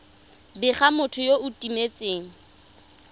bega motho yo o timetseng